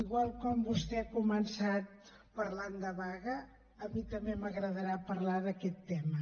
igual com vostè ha començat parlant de vaga a mi també m’agradarà parlar d’aquest tema